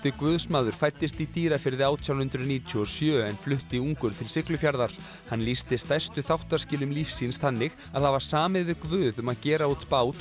guðsmaður fæddist í Dýrafirði átján hundruð níutíu og sjö en flutti ungur til Siglufjarðar hann lýsti stærstu þáttaskilum lífs síns þannig að hafa samið við Guð um að gera út bát